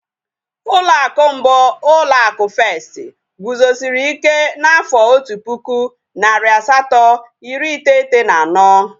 Ụlọ akụ mbụ, ụlọ akụ Festi guzosiri ike n'afọ otu pụkụ, narị asatọ iri iteghete na anọ